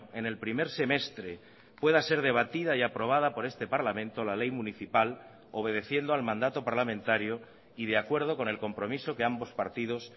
en el primer semestre pueda ser debatida y aprobada por este parlamento la ley municipal obedeciendo al mandato parlamentario y de acuerdo con el compromiso que ambos partidos